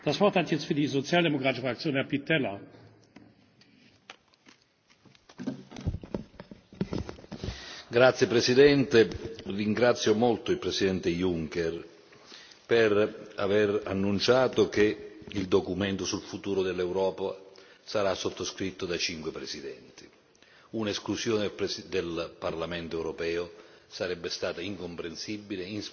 Signor Presidente, onorevoli colleghi, ringrazio molto il Presidente Juncker per aver annunciato che il documento sul futuro dell'Europa sarà sottoscritto da cinque presidenti. Un'esclusione del Parlamento europeo sarebbe stata incomprensibile, inspiegabile e ingiusta. Merita di essere coinvolto il Parlamento europeo